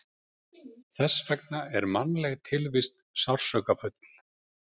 Þess vegna er mannleg tilvist sársaukafull.